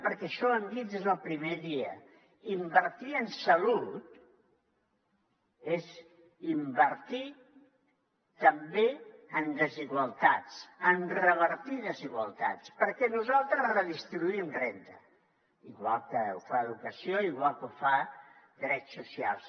perquè això ho hem dit des del primer dia invertir en salut és invertir també en revertir desigualtats perquè nosaltres redistribuïm renda igual que ho fa educació igual que ho fa drets socials